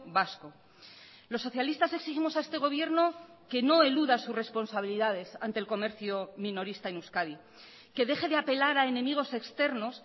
vasco los socialistas exigimos a este gobierno que no eluda sus responsabilidades ante el comercio minorista en euskadi que deje de apelar a enemigos externos